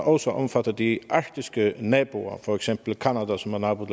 også omfatter de arktiske naboer for eksempel canada som er nabo